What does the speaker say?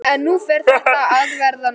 En nú fer þetta að verða nóg.